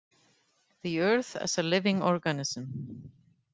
The Earth as a Living Organism.